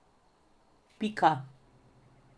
Pika.